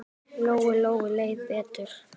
Lóu-Lóu leið betur.